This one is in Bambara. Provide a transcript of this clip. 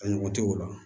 A ɲɔgɔn tɛ o la